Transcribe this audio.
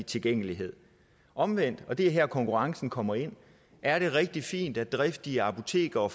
tilgængelighed omvendt og det er her konkurrencen kommer ind er det rigtig fint at driftige apotekere